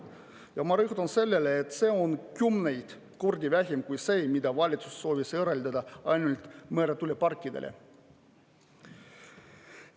Ja ma rõhutan seda, et see on kümneid kordi vähem kui see, mida valitsus soovis eraldada ainult meretuuleparkidele.